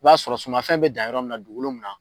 I b'a sɔrɔ sumanfɛn bɛ dan yɔrɔ min dugukolo min na